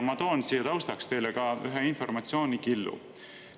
Ma toon taustaks ka ühe informatsioonikillu.